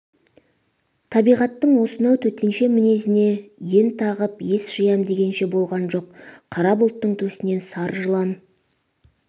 табиғаттың осынау төтенше мінезіне ен тағып ес жиям дегенше болған жоқ қара бұлттың төсінен сары жылан